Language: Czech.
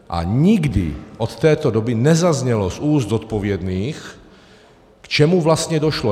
A nikdy od této doby nezaznělo z úst zodpovědných, k čemu vlastně došlo.